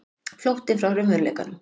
Flóttinn frá raunveruleikanum.